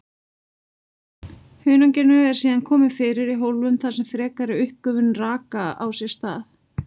Hunanginu eru síðan komið fyrir í hólfum þar sem frekari uppgufun raka á sér stað.